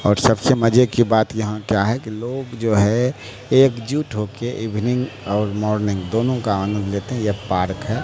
और सबसे मजे की बात यहां क्या है कि लोग जो है एक जुट हो के इवनिंग और मॉर्निंग दोनों का आनंद लेते हैं ये पार्क है।